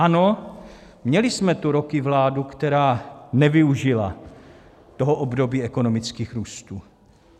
Ano, měli jsme tu roky vládu, která nevyužila toho období ekonomických růstů.